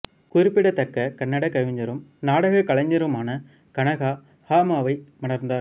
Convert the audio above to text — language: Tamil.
குறிப்பிடத்தக்க கன்னட கவிஞரும் நாடகக் கலைஞருமான கனகா ஹா மாவை மணந்தார்